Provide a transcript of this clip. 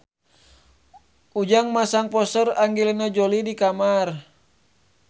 Ujang masang poster Angelina Jolie di kamarna